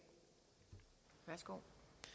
slå